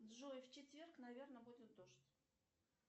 джой в четверг наверно будет дождь